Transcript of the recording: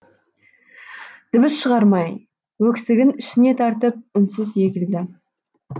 дыбыс шығармай өксігін ішіне тартып үнсіз егілді